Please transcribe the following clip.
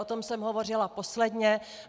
O tom jsem hovořila posledně.